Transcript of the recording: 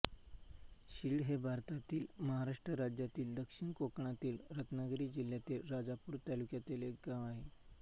शिळ हे भारतातील महाराष्ट्र राज्यातील दक्षिण कोकणातील रत्नागिरी जिल्ह्यातील राजापूर तालुक्यातील एक गाव आहे